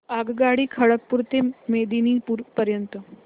आगगाडी खरगपुर ते मेदिनीपुर पर्यंत